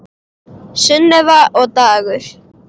Sunneva og Dagur.